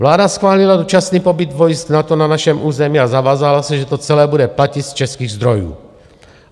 Vláda schválila dočasný pobyt vojsk NATO na našem území a zavázala se, že to celé bude platit z českých zdrojů.